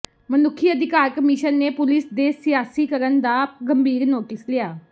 ਮਨੁੱਖੀ ਅਧਿਕਾਰ ਕਮਿਸ਼ਨ ਨੇ ਪੁਲੀਸ ਦੇ ਸਿਆਸੀਕਰਨ ਦਾ ਗੰਭੀਰ ਨੋਟਿਸ ਲਿਆ